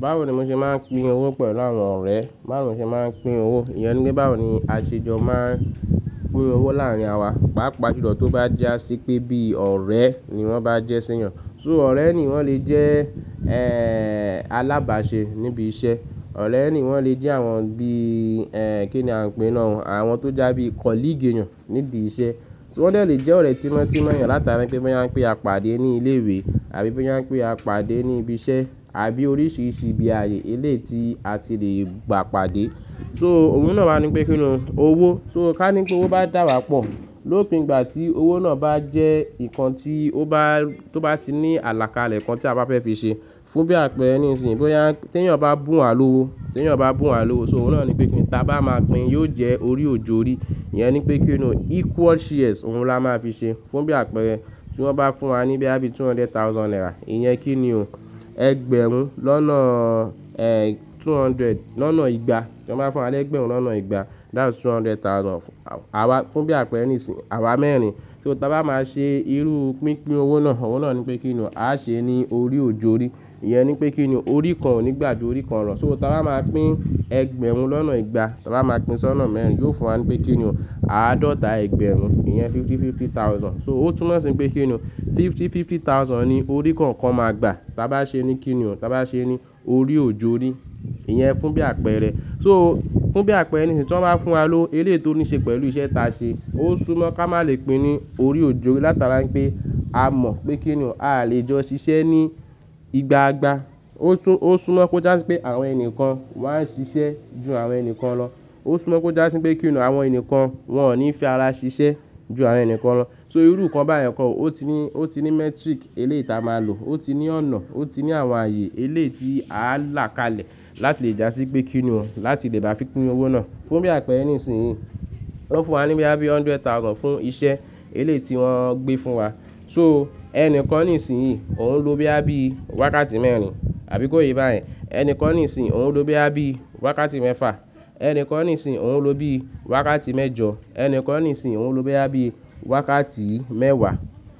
Báwo ni mo ṣe máa ń pín owó pẹ̀lú àwọn ọ̀rẹ́? Báwo ni mo ṣe máa ń pín owó? Ìyẹn ní pe báwo ni àṣejọ máa ń pín owó láàrin àwa, pàápàá ju lọ tó bá jásí pé bíi ọ̀rẹ́ ni wọ́n bá jẹ́sẹ́yàn. So ọ̀rẹ́ ni wọ́n lè jẹ́ e- alábàáṣe níbi iṣẹ́. Ọ̀rẹ́ ni wọ́n lè jẹ́ àwọn bíi, ẹ́ẹ́, kí ni a ń pè náà wọ́n, àwọn tó jásí bíi colleague eyàn nídi iṣẹ́. So wọ́n de lè jẹ́ ọ̀rẹ́ tímọ́ tímọ́ eyàn látara pé boya n pé a pàdé ní ilé ìwé àbí boyà n pé a pàdé ní ibi iṣẹ́ àbí oríṣìíríṣìí ibi ààyè eléyii ti a ti lè gbà pàdé. So òun náà wa ní pé kíni owó. So ká ní pé owó bá dàbàá pọ̀, lópin ìgbà tí owó náà bá jẹ́ nǹkan tí ó bá, tó bá ti ní àlàkalẹ̀ kan tí a bá fẹ́ fi ṣe. Fún bí àpẹẹrẹ nísinsìnyí, boya tí ẹ̀yàn bá bùn wá lówó, tí ẹ̀yàn bá bùn wá lówó, so òun náà ní pé kíni táa bá máa pín yóò jẹ́ orí òjó orí. Ìyẹn ní pé kíni equal shares òun la máa fi ṣe. Fún bí àpẹẹrẹ, tí wọ́n bá fún wa ní boya bí two hundred thousand naira, ìyẹn kí ni o, ẹgbẹ̀rún lọ́nà, ẹ́ẹ́, two hundred lọ́nà igba. Tí wọ́n bá fún wa lẹ́gbẹ̀rún lọ́nà igba, that's two hundred thousand fún àwa, fún bí àpẹẹrẹ nísinsìnyí àwa mẹ́rin. So táa bá máa ṣe irú pínpín owó náà, òun náà ní pé kíni a ṣe ẹ́ ní orí òjó orí. Ìyẹn ní pé kíni orí kan ò ní gbà ju orí kan lọ. So táa bá máa pín ẹgbẹ̀rún lọ́nà igba, táa bá máa pín sọ́nà mẹ́rin, yóò fún wa ní pé kíni o, àádọ́ta ẹgbẹ̀rún, ìyẹn fifty fifty thousand. So ó túnmọ̀ sí pé kíni fifty fifty thousand ni orí kọ̀ọ̀kan máa gbà, táa bá ṣe ní kíni o, táa bá ṣe ẹ́ ní orí òjó orí. Ìyẹn fún bí àpẹẹrẹ. So fún bí àpẹẹrẹ nísinyi tí wọ́n bá fún wa lówó eléyii tó ní ṣe pẹ̀lú iṣẹ́ ta ṣe, ó súnmọ́ ká má lè pín ní orí òjó orí látara pé a mọ̀ pé kíni o a lè jọ ṣiṣẹ́ ní ìgbàa gbà. Ó súnmọ́ kó jásí pé àwọn enikàn wọ́n á ṣiṣẹ́ ju àwọn enikan lọ. Ó súnmọ́ kó jásí pé kíni o, àwọn enikan wọ́n ní fi ara ṣiṣẹ́ ju àwọn ènìyàn kan lọ. So irú nǹkan bayen kọ̀ ọ́, ó ti ní, ó ti ní metric eléyii tí a máa lò, ó ti ní ọ̀nà, ó ti ní àwọn ààyè eléyii tí àá làkalẹ̀ láti lè jásí pé kíni o, láti lè bá fi pín owó náà. Fún bí àpẹẹrẹ nísinyín, wọ́n fún wa ní boya bí hundred thousand fún iṣẹ́ eléyii tí wọ́n gbé fún wa. So ẹnikan nísìnyín òun ló boya bí wákàtí mẹ́rin, àbí kó yé bá yẹn. Ẹnikan nísìnyín òun ló boya bí wákàtí mẹ́fà, ẹnikan nísinyín òun ló bi wákàtí mẹ́jọ, ẹnikan nísinyín òun ló boya bí wákàtí mẹ́wàá.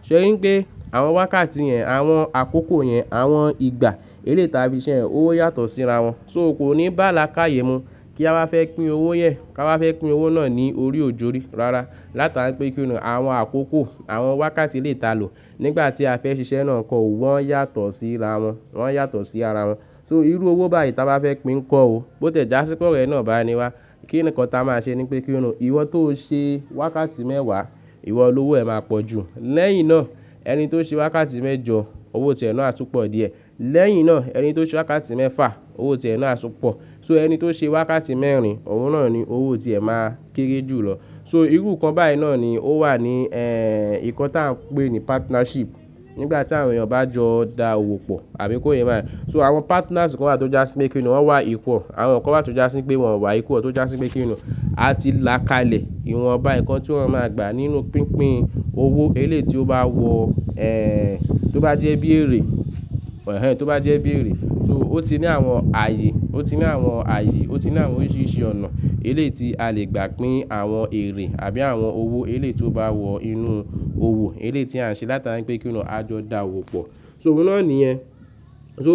Sọ iyen ni pé àwọn wákàtí yẹn, àwọn àkókò yẹn, àwọn ìgbà eléyii tí a fi ṣiṣẹ́ yẹn oyàtọ̀ sí ra wọ́n. So kò ní bá lakayè mu, kí awá fẹ́ pín owó yẹn, ka wá fẹ́ pín owó náà ni ori òjó orí. Rárá, látara pé kíni àwọn àkókò, àwọn wákàtí eléyii tí a lò nígbà tí a fẹ́ ṣiṣẹ́ náà kọ̀ wọ́n yàtọ̀ síra wọ́n, wọ́n yàtọ̀ sí ara wọn. So irú owó báyìí táa bá fẹ́ pín kọ́ o, bó tẹ́ jásí pé ọ̀rẹ́ náà bá ni wá, kí nǹkan táa máa ṣe ní pé kíni ìwọ tó ṣe wákàtí mẹ́wàá, ìwọ lówo ẹ máa pọ̀ jù. Lẹ́yìn náà ẹni tó ṣe wákàtí mẹ́jọ, owó tì ẹ náà á tú pọ̀ díẹ̀. Lẹ́yìn náà ẹni tó ṣe wákàtí mẹ́fà, owó tì ẹ náà á tú pọ̀. So ẹni tó ṣe wákàtí mẹ́rin, òun náà ni owó tí ẹ máa kéré jù lọ. So irú nǹkan báyìí náà ni ó wà ní, ẹ́ẹ́, nǹkan tí a ń pè ní partnership. Nígbà tí àwọn èyàn bá jọ dá owó pọ̀, àbí kó yé yin bá yẹn. So àwọn partners kan wa tó jásí pé kíni o wọ́n wà equal, àwọn kan wa tó jásí pé wọ́n wà equal tó jásí pé kíni o a ti làkalẹ̀ ìwọ̀nba nǹkan tí wọ́n máa gbà nínú pínpín owó eleyii tí ó bá wọ, ẹ́ẹ́, tó bá jẹ́ bí èrè, ẹhẹ́n, tó bá jẹ́ bí èrè. So ó ti ní àwọn ààyè, ó ti ní àwọn ààyè, ó ti ní àwọn oríṣìíríṣìí ọ̀nà eleyii tí a lè gbà pín àwọn èrè àbí àwọn owó eleyii tí ó bá wọ inú owó eleyii tí à ń ṣe látari pé kíni o, a jọ dá owó pọ̀. So òun náà ni yen So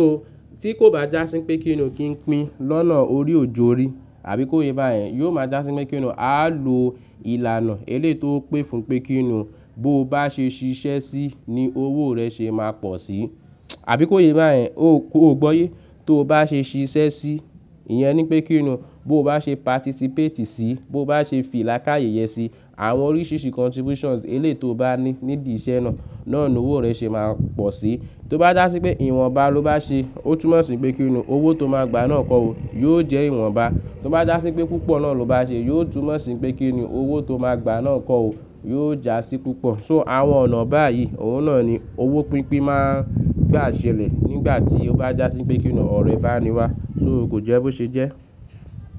tí kò bá jásí pé kíni o, kí n pín lọ́nà orí òjó orí, àbí kó yé yin bá yẹn, yo máa jásí pé kíni o a lò ìlànà eléyii tó pé fún pé kíni bó bá ṣe ṣiṣẹ́ sí ni owó rẹ ṣe máa pọ̀ sí. Àbí kó yé bá yẹn, o- o gbọ́yé tó bá ṣe ṣiṣẹ́ sí, ìyẹn ní pé kíni o bó bá ṣe participate sí, bó bá ṣe fì làkáyè ye sí, àwọn oríṣìíríṣìí contributions eléyii tó o bá ní nídi iṣẹ́ náà, náà lowó rẹ ṣe máa pọ̀ sí. Tó bá jásí pé ìwọ̀nba ló bá ṣe, ó túnmọ̀ sí pé kíni o owó tó máa gbà náà kọ́ o yóò jẹ́ ìwọ̀nba. Tó bá jásí pé púpọ̀ náà ló bá ṣe, yóò túnmọ̀ sí pé kíni o owó tó máa gbà náà kọ́ o yóò jásí púpọ̀. So àwọn ọ̀nà báyìí òun náà ni owó pínpín máa gbà ṣẹlẹ̀ nígbà tí ó bá jásí pé kíni o ọ̀rẹ́ bá ni wá. So kò jẹ́ bó ṣe jẹ́.